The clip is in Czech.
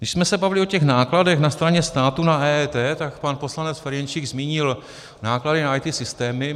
Když jsme se bavili o těch nákladech na straně státu na EET, tak pan poslanec Ferjenčík zmínil náklady na IT systémy.